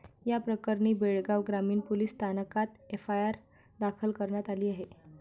या प्रकरणी बेळगाव ग्रामीण पोलीस स्थानकात एफआयआर दाखल करण्यात आली आहे.